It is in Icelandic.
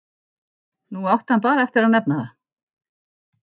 Nú átti hann bara eftir að nefna það.